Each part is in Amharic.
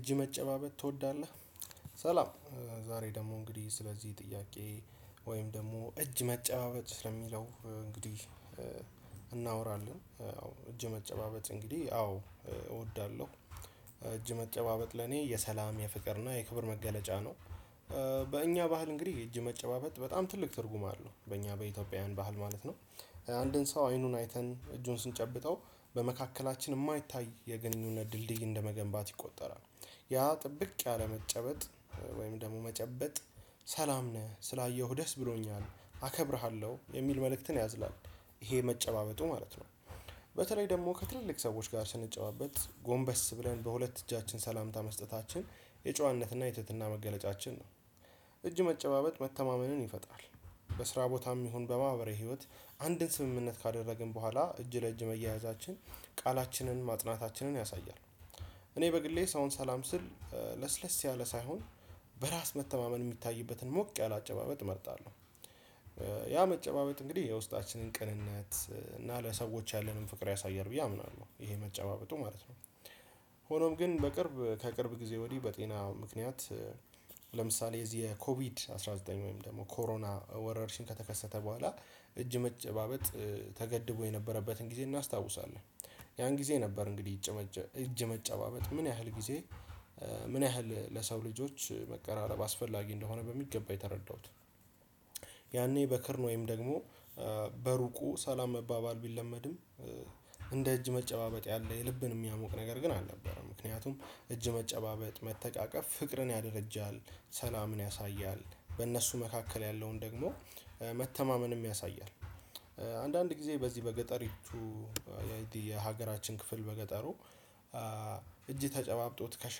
እጅ መጨባበጥ ትወዳለህ? ሰላም ዛሬ ደግሞ እንግዲህ ስለዚህ ጥያቄ ወይም ደግሞ እጅ መጨባበጥ ስለሚለው እንግዲህ እናወራለን አዎ እጅ መጨባበጥ እንግዲህ አዎ እወዳለሁ። እጅ መጨባበጥ ለኔ የሰላም የፍቅር እና የክብር መገለጫ ነው። በእኛ ባህል እንግዲህ እጅ መጨባበጥ በጣም ትልቅ ትርጉም አለው በእኛ በኢትዮጵያውያን ባህል ማለት ነው። አንድን ሰው አይኑን አይተን እጁን ስንጨብጠው በመካከላችን የማይታይ የግንኙነት ድልድይ እንደመገንባት ይቆጠራል። ያ ጥብቅ ያለ መጨበጥ ወይም ደግሞ መጨበጥ ሰላም ነህ ስላየሁህ ደስ ብሎኛል አከብርሃለሁ የሚል መልእክትን ያዝላል ይሄ መጨባበጡ ማለት ነው። በተለይ ደግሞ ከትልልቅ ሰዎች ጋር ስንጨባበጥ ጎንበስ ብለን በሁለት እጃችን ሰላምታ መስጠታችን የጨዋነትና የትህትና መገለጫችን ነው እጅ መጨባበጥ መተማመንን ይፈጣል። በስራ ቦታም ይሁን በማህበረ ህይወት አንድን ስምምነት ካደረግን በኋላ እጅ ለእጅ መያያዛችን ቃላችንን ማጥናታችንን ያሳያል። እኔ በግሌ ሰውን ሰላም ስል ለስለስ ያለ ሳይሆን በራስ መተማመን የሚታይበትን ሞቅ ያለ አጨባበጥ እመርጣለሁ። ያ መጨባበጥ እንግዲህ የውስጣችንን ቅንነት እና ለሰዎች ያለንን ፍቅር ያሳያል ብዬ አምናለሁ ይሄ መጨባበጡ ማለት ነው። ሆኖም ግን በቅርብ ከቅርብ ጊዜ ወዲህ በጤና ምክንያት ለምሳሌ እዚህ የኮቪድ አስራ ዘጠኝ ወይም ደግሞ ኮሮና ወረርሽን ከተከሰተ በኋላ እጅ መጨባበጥ ተገድቦ የነበረበትን ጊዜ እናስታውሳለን። ያን ጊዜ ነበር እንግዲህ እጅ መጨባበጥ ምን ያህል ጊዜ ምን ያህል ለሰው ልጆች መቀራረብ አስፈላጊ እንደሆነ በሚገባ የተረዳሁት። ያኔ በክርን ወይም ደግሞ በሩቁ ሰላም መባባል ቢለመድም እንደ እጅ መጨባበጥ ያለ የልብን የሚያሞቅ ነገር ግን አልነበረም። ምክንያቱም እጅ መጨባበጥ መተቃቀፍ ፍቅርን ያደርጃል ሰላምን ያሳያል በእነሱ መካከል ያለውን ደግሞ መተማመንም ያሳያል። አንዳንድ ጊዜ በዚህ በገጠሪቱ የሀገራችን ክፍል በገጠሩ እጅ ተጨባብጦ ትከሻ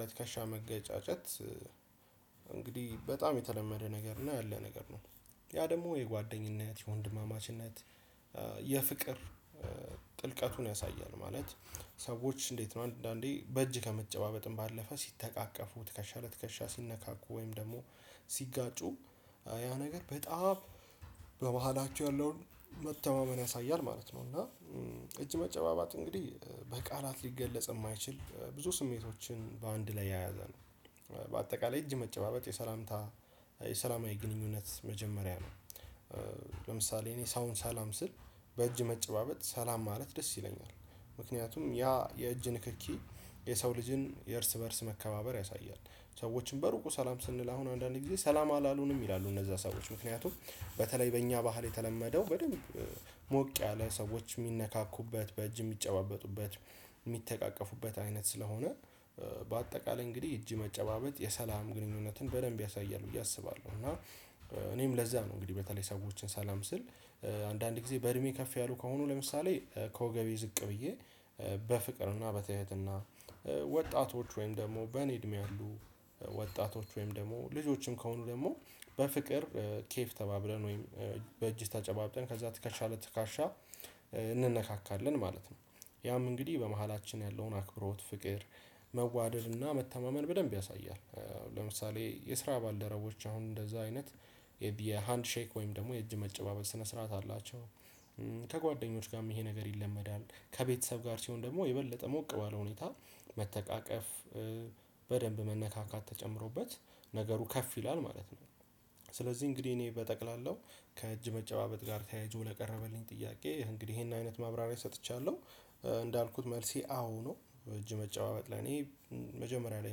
ለትከሻ መገጫጨት እንግዲህ በጣም የተለመደ ነገር እና ያለ ነገር ነው። ያ ደግሞ የጓደኝነት የወንድማማችነት የፍቅር ጥልቀቱን ያሳያል። ማለት ሰዎች እንዴት ነው? አንዳንዴ በእጅ ከመጨባበጥም ባለፈ ሲተቃቀፉ ትከሻ ለትከሻ ሲነካኩ ወይም ደግሞ ሲጋጩ ያ ነገር በጣም በበኋላቸው ያለውን መተማመን ያሳያል ማለት ነው። እና እጅ መጨባባት እንግዲህ በቃላት ሊገለጽ የማይችል ብዙ ስሜቶችን በአንድ ላይ ያዘ ነው። እጅ መጨባበጥ የሰላምታ የሰላማዊ ግንኙነት መጀመሪያ ነው። ለምሳሌ እኔ ሰውን ሰላም ስል በእጅ መጨባበጥ ሰላም ማለት ደስ ይለኛል ምክንያቱም ያ የእጅ ንክኪ የሰው ልጅን የእርስ በእርስ መከባበር ያሳያል። ሰዎችን በሩቁ ሰላም ስንል አሁን አንዳንዴ ጊዜ ሰላም አላልሆንም ይላሉ እነዛ ሰዎች ምክንያቱም በተለይ በእኛ ባህል የተለመደው በደንብ ሞቅ ያለ ሰዎች የሚነካኩበት በእጅ የሚጨባበጡበት የሚተቃቀፉበት አይነት ስለሆነ በአጠቃላይ እንግዲህ እጅ መጨባበጥ የሰላም ግንኙነትን በደንብ ያሳያል ብዬ አስባለሁ። እና እኔም ለዛ ነው እንግዲህ በተለይ ሰዎችን ሰላም ስል አንዳንድ ጊዜ በእድሜ ከፍ ያሉ ከሆኑ ለምሳሌ ከወገቤ ዝቅ ብዬ በፍቅርና በትህትና ወጣቶች ወይም ደግሞ በእኔ እድሜ አሉ ወጣቶች ወይም ደግሞ ልጆችም ከሆኑ ደግሞ ኬፍ ተባብለን ወይም በእጅ ተጨባብጠን ከዛ ትከሻለት ለትካሻ እንነካካለን ማለት ነው። ያም እንግዲህ በመካከላችን ያለውን አክብሮት ፍቅር መዋደድ እና መተማመን በደንብ ያሳያል። ለምሳሌ የስራ ባልደረቦች አሁን እንደዛ አይነት የሃንድ ሼክ ወይም ደግሞ የእጅ መጨባበል ስነ ስርዓት አላቸው። ከጓደኞች ጋርም ይሄ ነገር ይለመዳል ከቤተሰብ ጋር ሲሆን ደግሞ የበለጠ ሞቅ ባለ ሁኔታ መተቃቀፍ በደንብ መነካካት ተጨምሮበት ነገሩ ከፍ ይላል ማለት ነው። ስለዚህ እንግዲህ እኔ በጠቅላላው ከእጅ መጨባበጥ ጋር ተያይዞ ለቀረበልኝ ጥያቄ እንግዲህ ይሄንን አይነት ማብራሪያ ሰጥቻለሁ እንዳልኩት መልሴ አዎ ነው። እጅ መጨባበጥ ለኔ መጀመሪያ ላይ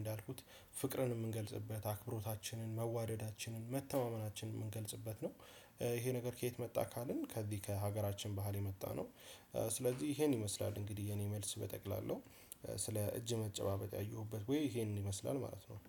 እንዳልኩት ፍቅርን የምንገልጽበት አክብሮታችንን መዋደዳችንን መተማመናችንን የምንገልጽበት ነው። ይሄ ነገር ከየት መጣ ካልን ከዚህ ከሀገራችን ባህል የመጣነው። ስለዚህ ይሄን ይመስላል እንግዲህ የኔ መልስ በጠቅላላው ስለ እጅ መጨባበጥ ያየሁበት ወይ ይሄንን ይመስላል ማለት ነው።